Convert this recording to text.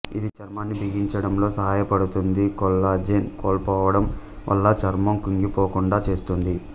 ఇది చర్మాన్ని బిగించడంలో సహాయపడుతుంది కొల్లాజెన్ కోల్పోవడం వల్ల చర్మం కుంగిపోకుండా చేస్తుంది